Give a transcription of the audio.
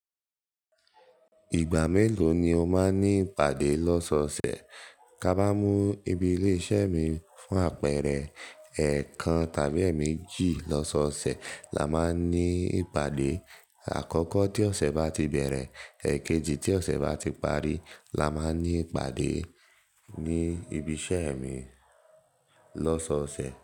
Ìgbà mélòó ni o máa ní ìpàdé lọ́sọọsẹ̀? Ká bá mú ibi ilé iṣẹ́ mi fún àpẹẹrẹ, ẹ̀ẹ̀kan tàbí èmejì lọ́sọọsẹ̀ la máa ń ní ìpàdé. Àkọ́kọ́ tí ọ̀sẹ̀ bá ti bẹ̀rẹ̀, èkejì tí ọ̀sẹ̀ bá ti parí la máa n ní ìpàdé ní ibi iṣẹ́ mi lọ́sọọsẹ̀.